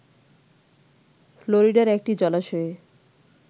ফ্লোরিডার একটি জলাশয়ে